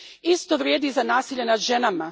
Isto vrijedi i za nasilje nad ženama.